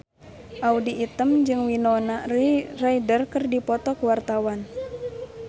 Audy Item jeung Winona Ryder keur dipoto ku wartawan